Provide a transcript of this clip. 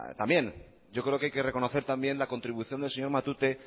también yo creo que hay que reconocer también la contribución del señor matute